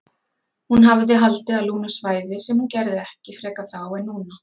Hún hafði haldið að Lúna svæfi sem hún gerði ekki frekar þá en núna.